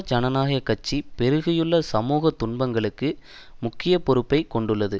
ஜனநாயக கட்சி பெருகியுள்ள சமூக துன்பங்களுக்கு முக்கிய பொறுப்பை கொண்டுள்ளது